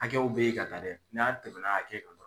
Hakɛw bɛ yen ka taa dɛ, n'an tɛmɛna hakɛ kan dɔrɔn